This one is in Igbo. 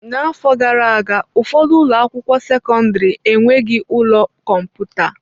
N'afọ gara aga, ụfọdụ ụlọ akwụkwọ sekọndrị enweghị ụlọ kọmputa.